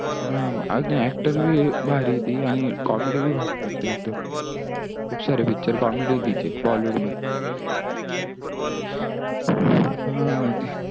हा अजून actor भी भारी ही ती आणि comedy भी भारी करते एकदम खूप सार picture comedy हे तिचे bollywood मध्ये